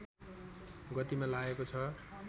गतिमा लागेको छ